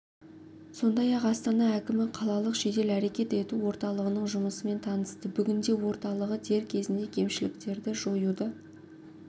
сондай-ақ астана әкімі қалалық жедел әрекет ету орталығының жұмысымен танысты бүгінде орталығы дер кезінде кемшіліктерді жоюды